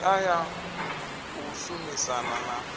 hodea ya u shumisana na